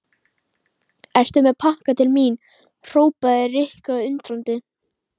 Ertu með pakka til mín? hrópaði Rikka undrandi.